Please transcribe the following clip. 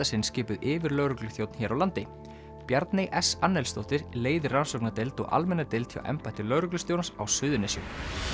sinn skipuð yfirlögregluþjónn hér á landi Bjarney s leiðir rannsóknardeild og almenna deild hjá embætti lögreglustjórans á Suðurnesjum